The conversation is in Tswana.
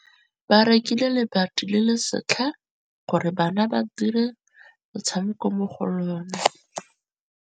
Ba rekile lebati le le setlha gore bana ba dire motshameko mo go lona.